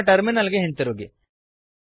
ನಮ್ಮ ಟರ್ಮಿನಲ್ ಗೆ ಹಿಂದಿರುಗಿ